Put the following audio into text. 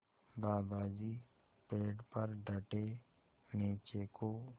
दादाजी पेड़ पर डटे नीचे को